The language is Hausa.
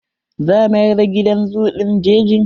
Za mayar da gidan zoo ɗin jeji.